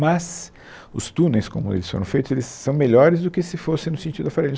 Mas os túneis, como eles foram feitos, eles são melhores do que se fosse no sentido da Faria Lima